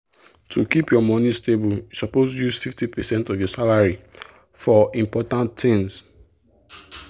to keep your money stable you suppose use 50 percent of your salary for important things.